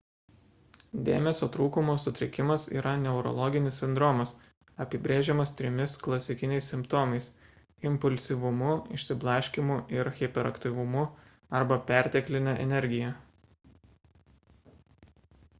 dėmesio trūkumo sutrikimas yra neurologinis sindromas apibrėžiamas trimis klasikiniais simptomais impulsyvumu išsiblaškymu ir hiperaktyvumu arba pertekline energija